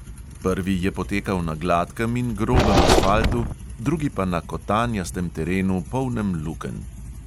Prvi je potekal na gladkem in grobem asfaltu, drugi pa na kotanjastem terenu, polnem lukenj.